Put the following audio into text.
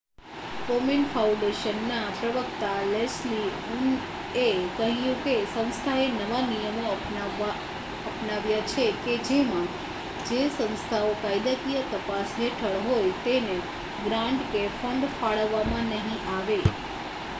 કોમેન ફાઉન્ડેશનના પ્રવક્તા લેસ્લી ઉનએ કહ્યું કે સંસ્થાએ નવા નિયમો અપનાવ્યા છે કે જેમાં જે સંસ્થાઓ કાયદાકીય તપાસ હેઠળ હોય તેને ગ્રાન્ટ કે ફંડ ફાળવવામાં નહી આવે